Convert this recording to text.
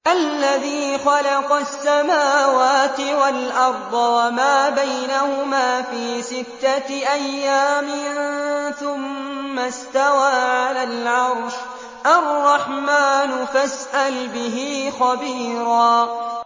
الَّذِي خَلَقَ السَّمَاوَاتِ وَالْأَرْضَ وَمَا بَيْنَهُمَا فِي سِتَّةِ أَيَّامٍ ثُمَّ اسْتَوَىٰ عَلَى الْعَرْشِ ۚ الرَّحْمَٰنُ فَاسْأَلْ بِهِ خَبِيرًا